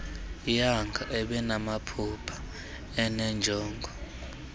young ebenamaphupha enenjongo